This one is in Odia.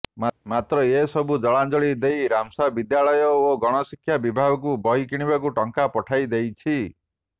ମାତ୍ର ଏସବୁକୁ ଜଳାଞ୍ଜଳି ଦେଇ ରାମ୍ସା ବିଦ୍ୟାଳୟ ଓ ଗଣଶିକ୍ଷା ବିଭାଗକୁ ବହି କିଣିବାକୁ ଟଙ୍କା ପଠାଇ ଦେଇଛି